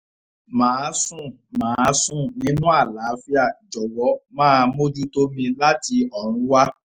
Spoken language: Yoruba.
màá sùn màá sùn nínú àlàáfíà jọ̀wọ́ máa mójútó mi láti ọrùn wa